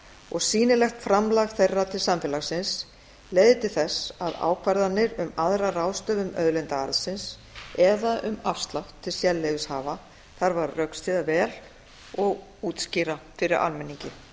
og sýnilegt framlag þeirra til samfélagsins leiðir til þess að ákvarðanir um aðra ráðstöfun auðlindaarðsins eða um afslátt til sérleyfishafa þarf að rökstyðja vel og útskýra fyrir almenningi